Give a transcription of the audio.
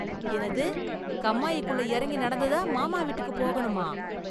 என்னது, கம்மாயிக்குள்ள இறங்கி நடந்து தான் மாமா வீட்டுக்கு போகணுமா?